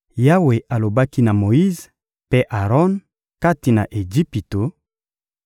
Yawe alobaki na Moyize mpe Aron kati na Ejipito: